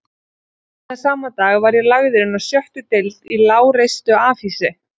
Seinna sama dag var ég lagður inná sjöttu deild í lágreistu afhýsi